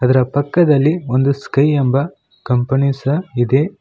ಅದರ ಪಕ್ಕದಲ್ಲಿ ಒಂದು ಸ್ಕೈ ಎಂಬ ಕಂಪನಿ ಸಹ ಇದೆ.